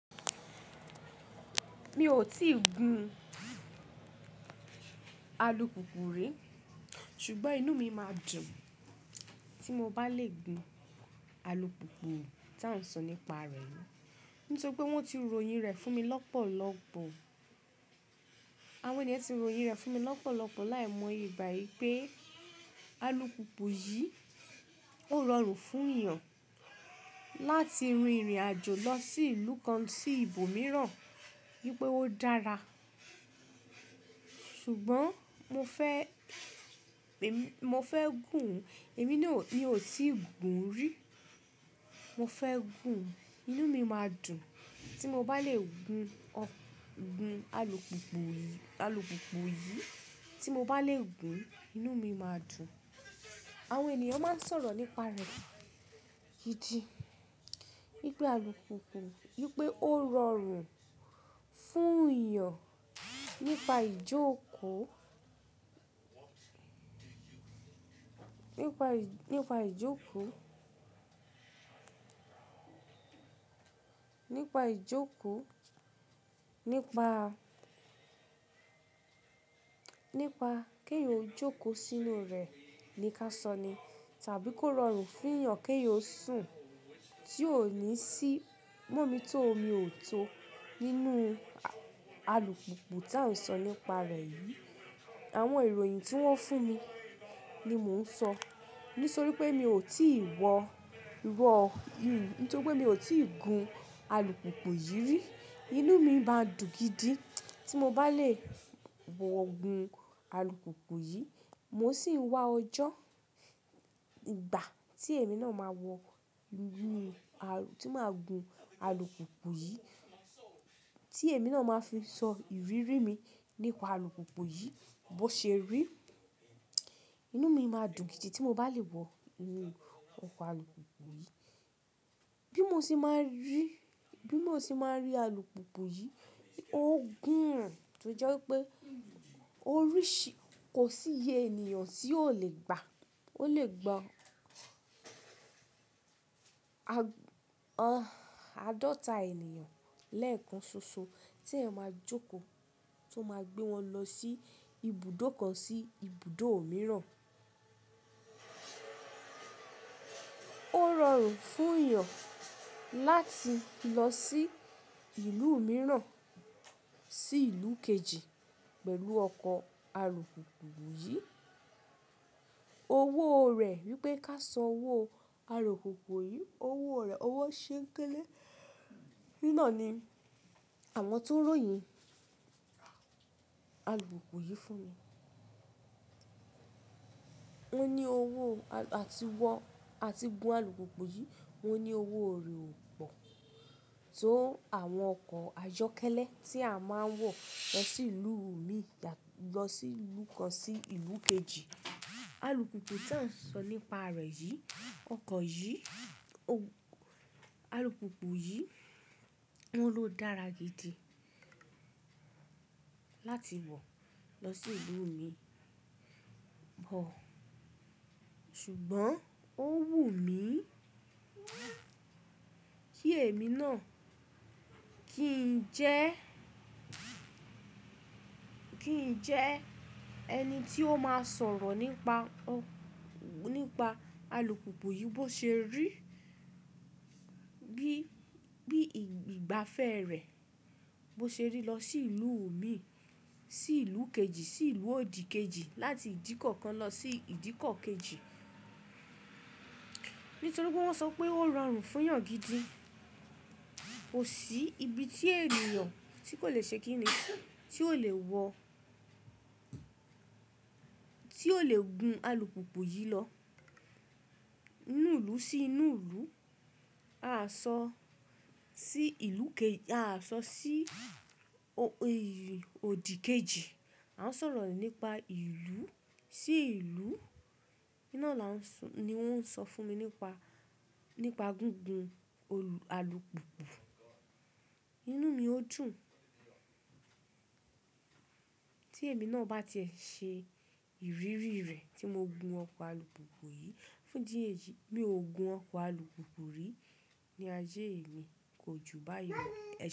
Mi ò tíì gun alùpùpù rí, ṣùgbọ́n inú mi máa dùn tí mo bá lè gun alùpùpù tí à ń sọ nípa rẹ̀ yìí. Nítorí pé wọ́n ti ròyìn rẹ̀ fún mi lọ́pọ̀lọ́pọ̀. Àwọn ènìyàn ti ń ròyìn rẹ̀ fún mi lọ́pọ̀lọ́pọ̀ láìmọyẹ ìgbà yìí pé alùpùpù yìí ó rọrùn fún èèyàn láti rin ìrìn àjò lọ sí ìlú kan sí ibòmíràn wípé ó dára. Ṣùgbọ́n mo fẹ́, mo fẹ́ gùn, èmi náà mi ò tí gùn rí. Mo fẹ́ gùn, inú mi máa dùn tí mo bá lè gun alùpùpù yìí, tí mo bá lè gùn, inú mi máa dùn. Àwọn ènìyàn máa ń sọ̀rọ̀ nípa rẹ̀ gidi wípé alùpùpù, wípé ó rọrùn fún èèyàn nípa ìjókòó, nípa ìjókòó, nípa ìjókòó, nípa, nípa kí èèyàn o jókòó sínú rẹ̀ ní ká sọni. Tàbí kó rọrùn fún èèyàn kí eeyan ó sùn tí ó ní sí gbomi si omi ò tó nínú alùpùpù tí à ń sọ nípa rẹ̀ yìí. Àwọn ìròyìn tí wọ́n fún mi ni mò ń sọ. Nítorí pé mi ò tíì wọ, wọ, nítorí pé mi ò tíì gun alùpùpù yìí rí. Inú mi máa dùn gidi tí mo bá lè wọ gun alùpùpù yìí. Mo sì ń wá ọjọ́ ìgbà tí èmi náà máa wọ, tí màá gun alùpùpù yìí, tí èmi náà máa fi sọ ìrírí mi nípa alùpùpù yìí bó ṣe rí. Inú mi máa dùn gidi tí mo bá lè wọ gun ọkọ̀ alùpùpù yìí. Bí mo sì máa rí, bí mo sì máa rí alùpùpù yìí, ó gùn nn, tí ó jẹ́ pé oríṣi kò sí iye ènìyàn tí ò lè gbá. Ó lè gba àádọ́ta ènìyàn lẹ́ẹ̀kan soso tí ẹ máa jókòó tó máa gbé wọn lọ sí ibùdó kan sí ibùdó mìíràn. Ó rọrùn fún èèyàn láti lọ sí ìlú mìíràn sí ìlú kejì pẹ̀lú ọkọ̀ alùpùpù yìí. Owó rẹ̀ wípé ká sọ owó alùpùpù yìí, owó rẹ̀, owó ṣinkele. Torí náà ni àwọn tó ń ròyìn alùpùpù yìí fún mi. Wọ́n ní owó, a ti wọ, a ti gun alùpùpù yìí, wọ́n ní owó rẹ̀ ò pọ̀ tó àwọn ọkọ̀ ayọ́kẹ́lẹ́ tí a máa ń wọ̀ lọ sí ìlú mi lọ sí ìlú kan sí ìlú kejì. Alùpùpù tí à ń sọ nípa rẹ̀ yìí, ọkọ̀ yìí, alùpùpù yìí wọn ló dára gidi láti wọ̀ lọ sí ìlú mi. Ṣùgbọ́n ó wù mí kí èmi náà kí ń jẹ́, kí ń jẹ́ ẹni tí ó máa sọ̀rọ̀ nípa, nípa alùpùpù yìí bó ṣe rí bí ìgbafẹ́ rẹ̀ bó ṣe rí lọ sí ìlú mi sí ìlú kejì sí ìlú òdì kejì láti ìdí ko kan lọ sí ìdí kọ̀ kejì. Nítorí pé wọ́n sọ pé ó rọrùn fún èèyàn gidi. Kò sí ibi tí ènìyàn tí kò le ṣe kìnì tí ó lè wọ, tí ó lè gun alùpùpù yìí lọ inú ìlú sí inú ìlú. A sọ sí ìlú kejì, a sọ sí òdì kejì. A ń sọ̀rọ̀ nípa ìlú sí ìlú. Náà la ń sọ, ni wọ́n ń sọ fún mi nípa, nípa gungùn alùpùpù. Inú mi ó dùn tí èmi náà bá tiẹ ṣe ìrírí rẹ̀ tí mo gun ọkọ̀ alùpùpù yìí fún idi èyii mí ó gun ọkọ̀ alùpùpù rí ní ayé mi, kò jù báyìí lọ́.